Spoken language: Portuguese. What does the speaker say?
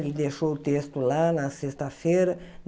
Ele deixou o texto lá na sexta-feira.